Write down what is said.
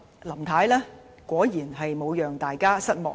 林太果然沒有令大家失望。